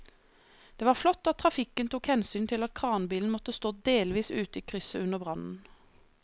Det var flott at trafikken tok hensyn til at kranbilen måtte stå delvis ute i krysset under brannen.